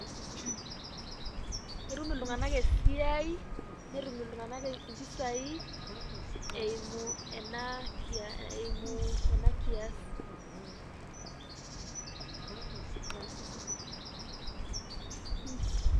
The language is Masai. etum iltungana esiai netum iltunganak mpisai eimu ena kia eimu ena kias